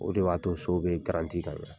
O de b'a to so bɛ garanti ka ɲɛn